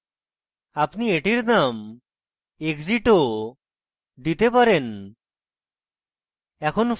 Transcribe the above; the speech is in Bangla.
আপনি এটির নাম exit ও দিতে পারেন